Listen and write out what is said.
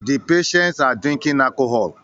The patients are drinking alcohol